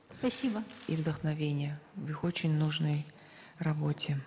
спасибо и вдохновения в их очень нужной работе